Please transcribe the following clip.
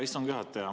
Hea istungi juhataja!